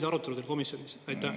Oli see arutelu teil komisjonis?